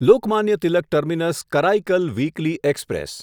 Lokmanya Tilak terminus Karaikal weekly express